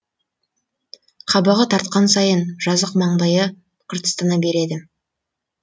қабағы тартқан сайын жазық маңдайы қыртыстана береді